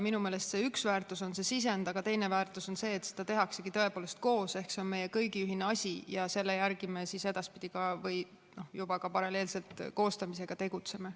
Minu meelest üks väärtus on see sisend, aga teine väärtus on see, et seda tehaksegi tõepoolest koos ehk see on meie kõigi ühine asi ja selle järgi me siis edaspidi või ka juba paralleelselt selle koostamisega tegutseme.